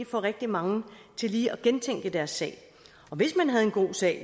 få rigtig mange til lige at gentænke deres sag hvis man havde en god sag